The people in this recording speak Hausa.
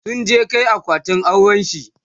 sun je Kai akwatin aurenshi